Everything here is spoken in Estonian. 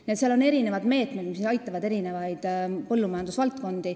Nii et on mitmesugused meetmed, mis aitavad erinevaid põllumajandusvaldkondi.